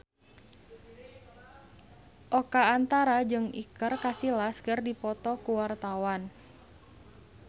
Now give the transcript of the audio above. Oka Antara jeung Iker Casillas keur dipoto ku wartawan